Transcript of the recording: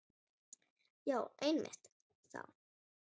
Já einmitt það.